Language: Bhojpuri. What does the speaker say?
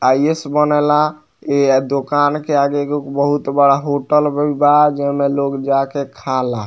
आई.ए.अस. बनेला ए दूकान के आगे एगो बहुत बड़ा होटल भी बा जे मे लोग जाके खाला।